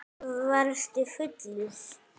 Varstu fullur?